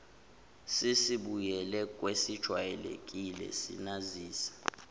sesibuyele kwesejwayelekile sinazise